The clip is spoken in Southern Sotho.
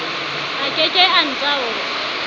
a ke ke a ntaola